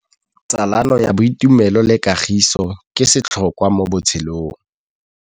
Tsalano ya boitumelo le kagiso ke setlhôkwa mo botshelong.